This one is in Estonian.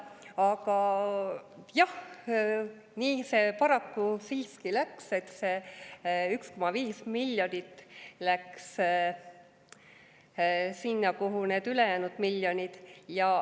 Aga jah, nii see paraku siiski läks, et see 1,5 miljonit läks sinna, kuhu need ülejäänud miljonid.